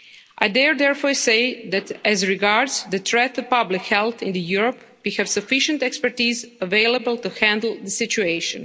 I dare, therefore, say that, as regards the threat to public health in Europe we have sufficient expertise available to handle the situation.